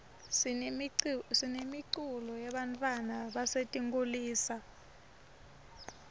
sinemiculo yebantfwana basetinkulisa